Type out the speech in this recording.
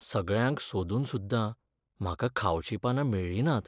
सगळ्यांक सोदून सुद्दा म्हाका खावचीं पानां मेळ्ळीं नात.